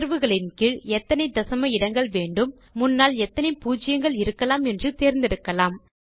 தேர்வுகளின் கீழ் எத்தனை தசம இடங்கள் வேண்டும் முன்னால் எத்தனை பூஜ்யங்கள் இருக்கலாம் என்று தேர்ந்தெடுக்கலாம்